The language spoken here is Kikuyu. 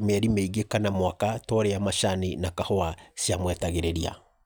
mĩeri mĩingĩ kana mwaka ta ũrĩa macani na kahũa ciamwetagĩrĩria.